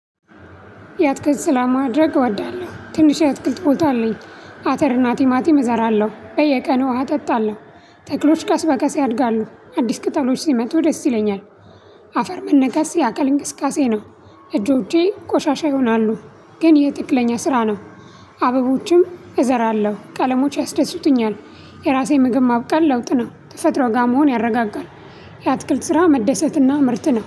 ያትክልት ስራ ማድረግ እወዳለሁ ትንሽ ያትክልት ቦታ አለኝ አተርና ቲማቲም እዘራለሁ በየቀኑ ውሃ አጠጣለሁ። ተክሎች ቀስ በቀስ ያድጋሉ አዲስ ቅጠሎች ደስ ይለኛል። አፈር መነጋስ ያካል እንቅስቃሴ ነው። እጆቼ ቆሻሻ ይሆናሉ። ግን ይሄ ትክለኛ ስራ ነው። አበቦችም እዘራለሁ ቀለሞች ያስደስቱኛል። የራሴ ምግብ ማብቀል ለውጥ ነው ተፈጥሮጋ መሆን ያረጋጋል። የአትክልት ስራ መደሰትና ምረጥ ነው